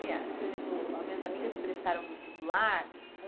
Por exemplo, as minhas amigas prestaram vestibular.